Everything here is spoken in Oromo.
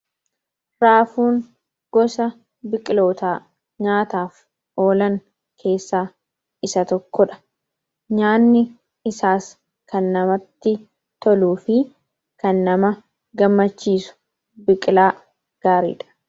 Raafuun gosa biqilootaa nyaataaf oolan keessaa isa tokkodha nyaanni isaas kan namatti toluu fi kan nama gammachiisu biqilaa gaariidha.